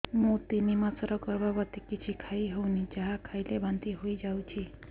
ମୁଁ ତିନି ମାସର ଗର୍ଭବତୀ କିଛି ଖାଇ ହେଉନି ଯାହା ଖାଇଲେ ବାନ୍ତି ହୋଇଯାଉଛି